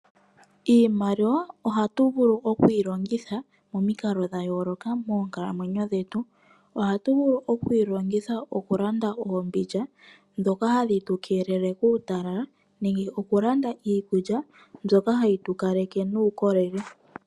Iimaliwa ohatu vulu okuyi longitha momikalo dhayoloka moonkalamwenyo dhetu. Ohatu vulu okuyi longitha oku landa oombindja dhoka hadhi tu keelele kuutalala nenge oku landa iikulya mbyoka hayi tu kaleke nuukolele.